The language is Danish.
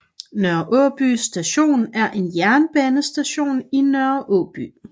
Nørre Åby Station er en jernbanestation i Nørre Aaby